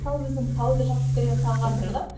мысалы өзім тауды жақсы көремін тауға қызығамын